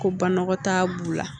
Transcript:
Ko banakɔtaa b'u la